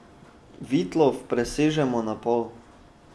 Vitlof prerežemo na pol.